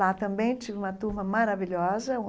Lá também tive uma turma maravilhosa.